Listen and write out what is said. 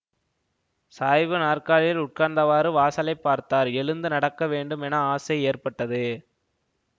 சாய்வு நாற்காலியில் உட்கார்ந்தவாறு வாசலைப் பார்த்தார் எழுந்து நடக்கவேண்டும் என ஆசை ஏற்பட்டது